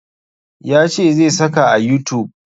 Ya ce zai saka a youtube